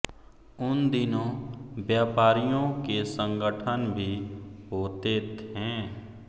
उन दिनों व्यापारियों के संगठन भी होते थे